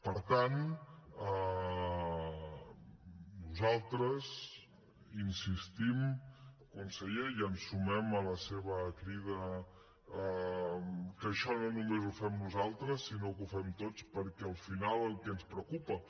per tant nosaltres hi insistim conseller i ens sumem a la seva crida que això no només ho fem nosaltres sinó que ho fem tots perquè al final el que ens preocupa